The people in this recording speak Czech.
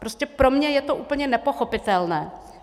Prostě pro mě je to úplně nepochopitelné.